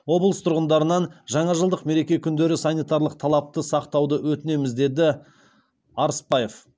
облыс тұрғындарынан жаңажылдық мереке күндері санитарлық талапты сақтауды өтінеміз деді арыспаев